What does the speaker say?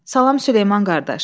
Salam Süleyman qardaş.